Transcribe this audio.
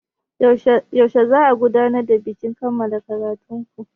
Yaushe za'a gudanar da bikin kammala ƙaratun ku?